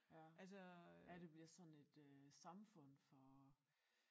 Ja ja det bliver sådan et øh samfund for